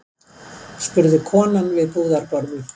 spurði konan við búðarborðið.